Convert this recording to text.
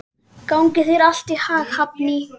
Gangi þér allt í haginn, Hafný.